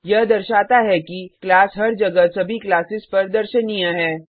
यह दर्शाता है कि क्लास हर जगह सभी क्लासेस पर दर्शनीय है